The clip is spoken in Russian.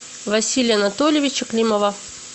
василия анатольевича климова